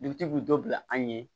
Dugutigi bi dɔ bila an ye